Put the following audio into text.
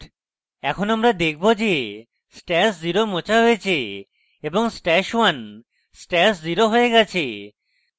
এখন আমরা দেখব যে stash @{0} মোছা হয়েছে এবং stash @{1} stash @{0} হয়ে গেছে